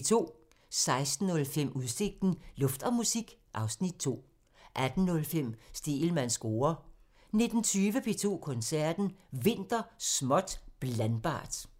16:05: Udsigten – Luft og musik (Afs. 2) 18:05: Stegelmanns score (tir) 19:20: P2 Koncerten – Vinter – småt blandbart